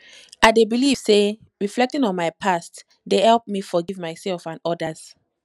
i dey believe say reflecting on my past dey help me forgive myself and others